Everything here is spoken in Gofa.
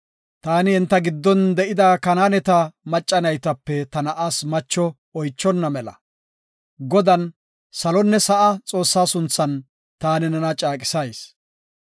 taani enta giddon de7ida Kanaaneta macca naytape ta na7aas macho oychonna mela, Godan, salonne sa7a Xoossa sunthan taani nena caaqisayis;